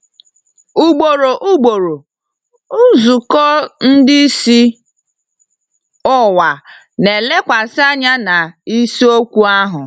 Ugboro ugboro, nzukọ ndị isi ụwa na-elekwasị anya na isiokwu ahụ.